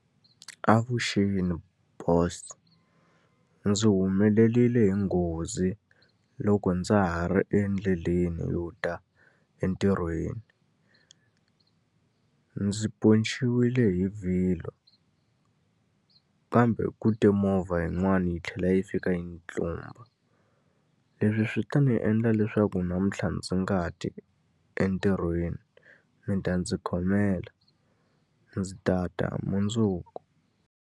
Avuxeni boss. Ndzi humeleriwe hi nghozi loko ndza ha ri endleleni yo ta entirhweni. Ndzi ponceriwe hi vhilwa, kambe ku te movha yin'wani yi tlhela yi fika yi ni tlumba. Leswi swi ta ndzi endla leswaku namuntlha ndzi nga ti entirhweni. Mi ta ndzi khomela, ndzi ta ta mundzuku.